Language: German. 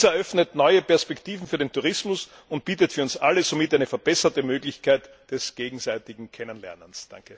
Dies eröffnet neue Perspektiven für den Tourismus und bietet für uns alle somit eine verbesserte Möglichkeit des gegenseitigen Kennenlernens.